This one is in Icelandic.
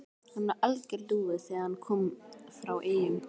Hann var alger lúði þegar hann kom frá Eyjum.